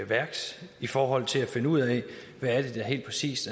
værks i forhold til at finde ud af hvad det helt præcis